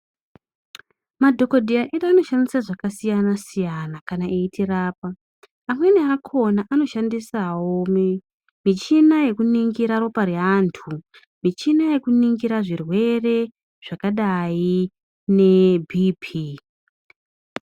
Madhokodheya anoshandisa zvakasiyana siyana kana eitirapa amweni akona anoshandisawo michina yekuningira ropa reantu michina yekuningira zvirwere zvakadai neBP .